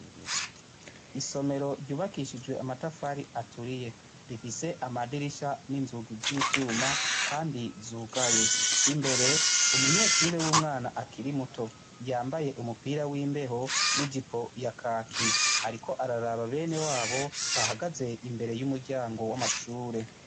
Isomero ryubakishijwe amatafari aturiye rifise amadirisha n'inzugi z'ivyuma kandi zugaye, imbere umunyeshure w'umwana akiri muto yambaye umupira w'imbeho n'ijipo ya kaki ariko araraba benewabo bahagaze imbere y'amashure.